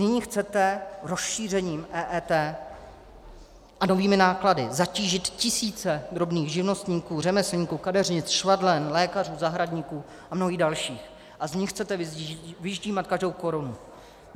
Nyní chcete rozšířením EET a novými náklady zatížit tisíce drobných živnostníků, řemeslníků, kadeřnic, švadlen, lékařů, zahradníků a mnohých dalších a z nich chcete vyždímat každou korunu.